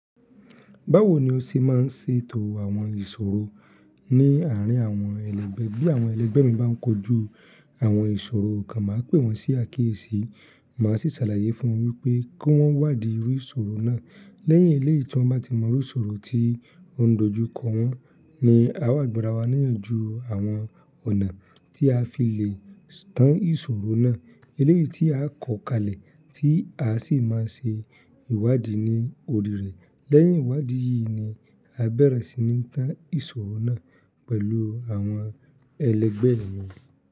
Báwo ni o ṣe máa ń ṣè etò àwọn ìṣòro ní àárín àwọn ẹlẹgbẹ́? Báwo ni o ṣe máa ń ṣè etò àwọn ìṣòro ní àárín àwọn ẹlẹgbẹ́? Lẹ́yìn eléyìí tí wọ́n bá ti mọ irú ìṣòro tí ó ń dojú kọ wọ́n, ni à wa gba'ra wá níyànjú àwọn ọ̀nà tí a fi lè tán ìṣòro náà. Eléyìí tí a kọ̀ kalẹ̀ tí a sì máa ṣe ìwádìí ní orí rẹ̀. Lẹ́yìn ìwádìí yìí ni a bẹ̀rẹ̀ sí ní tán ìṣòro náà pẹ̀lú àwọn ẹlẹgbẹ́ mi.